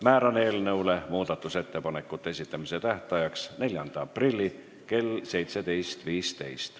Määran eelnõu muudatusettepanekute esitamise tähtajaks 4. aprilli kell 17.15.